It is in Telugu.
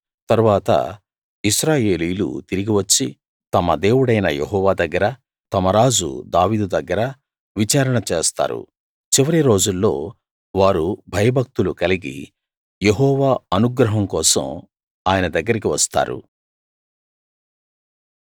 తరువాత ఇశ్రాయేలీయులు తిరిగి వచ్చి తమ దేవుడైన యెహోవా దగ్గరా తమ రాజు దావీదు దగ్గరా విచారణ చేస్తారు చివరి రోజుల్లో వారు భయ భక్తులు కలిగి యెహోవా అనుగ్రహం కోసం ఆయన దగ్గరికి వస్తారు